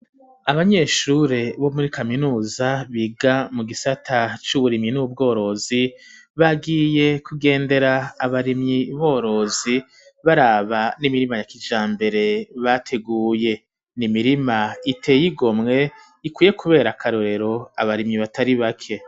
Abanyeshure bo muri kaminuza biga mu gisata c'uburimyi n'ubworozi bagiye kugendera abarimyi borozi baraba n'imirima ya kijambere bateguye n'imirima iteye igomwe ikwiye kubera karorero abarimyi batari bake.